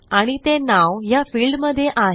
आणि ते नाव ह्या फिल्डमधे आहे